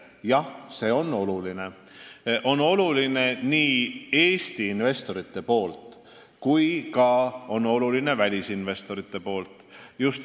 Jah, see on oluline nii Eesti investorite kui ka välisinvestorite mõttes.